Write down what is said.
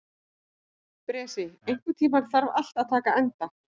Bresi, einhvern tímann þarf allt að taka enda.